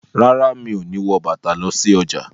Rárá, Mi o no wọ bàtà lọ sí ọjà.